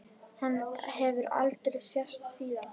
Hann hefur aldrei sést síðan.